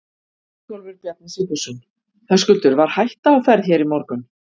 Ingólfur Bjarni Sigfússon: Höskuldur, var hætta á ferð hér í morgun?